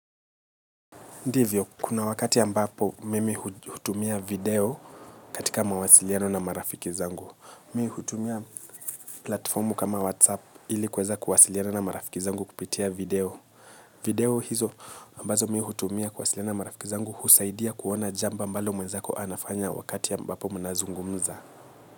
Ndivyo, kuna wakati yambapo mimi hutumia video katika mawasiliano na marafiki zangu. Mi hutumia platformu kama WhatsApp ili kweza kuwasiliano na marafiki zangu kupitia video. Video hizo ambazo mi hutumia kuwasiliano na marafiki zangu husaidia kuona jamba ambalo mwezako anafanya wakati ambapo mnazungumza.